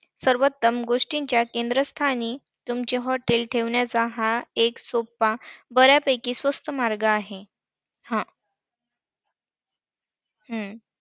सर्वोत्तम गोष्टीच्या केंद्रस्थानी तुमचे hotel ठेवण्याचा हा सोपा, बर्‍यापैकी स्वस्त मार्ग आहे. हा! हम्म